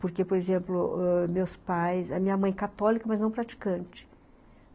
Porque, por exemplo, ãh, meus pais... a minha mãe é católica, mas não praticante.